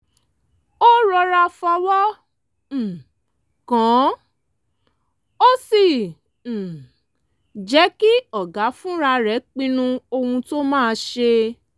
ó rọra fọwọ́ um kàn án ó sì um jẹ́ kí ọ̀gá fúnra rẹ̀ pinnu ohun tó máa ṣe